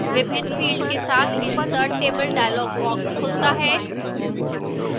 विभिन्न fields के साथ insert table dialog box खुलता है